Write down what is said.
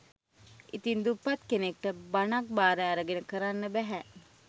ඉතින් දුප්පත් කෙනෙක්ට බණක් බාර අරගෙන කරන්න බැහැ